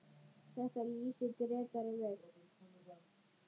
Þetta lýsir Grétari vel.